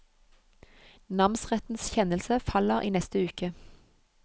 Namsrettens kjennelse faller i neste uke.